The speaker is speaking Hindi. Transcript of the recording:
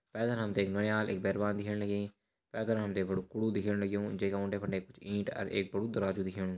पेथर हमतें एक नुन्याल एक बेरवान दिखेण लगीं पेथर हमतें बडु कूढु दिखेण लग्युं जेका उंडे-फुंड कुछ इंट और एक बडु दरवाजु दिखेणु।